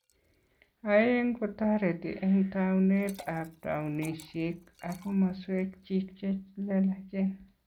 Aeng, kotoriti eng taunet ab taunishek ak komoswek chik che lelachen